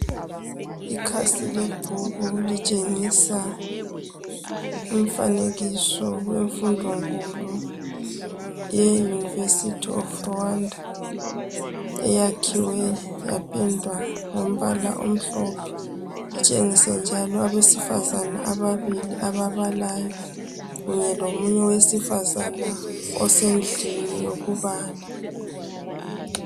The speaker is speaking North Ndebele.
Ikhasi lebhuku litshengisa umfanekiso wemfundonkulu yeUniversity of Rwanda. Eyakhiwe yapendwa ngombala omhlophe. Itshengise njalo abesifazane ababilli ababalayo kunye lomunye owesifazana osendlini yokubala.